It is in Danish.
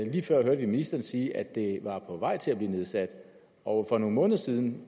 lige før hørte vi ministeren sige at det var på vej til at blive nedsat og for nogle måneder siden